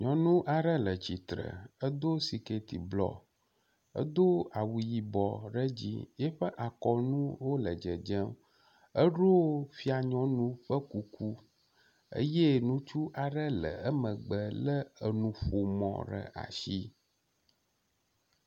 Nyɔnu aɖe le tsitre, edo siketi blɔ, edo awu yibɔ ɖe edzi, eƒe akɔnuwo le dzedzem. Eɖo fia nyɔnu ƒe kuku eye ŋutsu aɖe le emegbe lé enuƒomɔ ɖe asi.